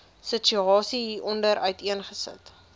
situasie hieronder uiteengesit